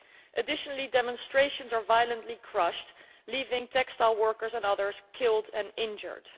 In addition, demonstrations are violently crushed, leaving textile workers and others killed and injured.